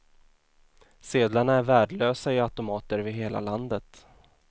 Sedlarna är värdelösa i automater över hela landet.